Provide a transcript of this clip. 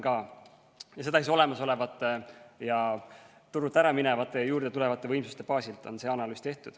See analüüs on tehtud olemasolevate, turult ära minevate ja juurde tulevate võimsuste baasil.